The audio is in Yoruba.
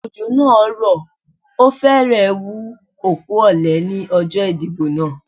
Òjò naa rò o férè wú okú òle ní ọjó ìdìbò náà